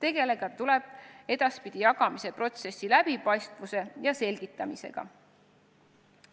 Edaspidi tuleb tegeleda jagamise protsessi läbipaistvuse ja selgitamisega.